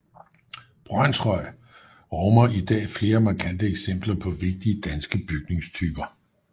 Brønshøj rummer i dag flere markante eksempler på vigtige danske bygningstyper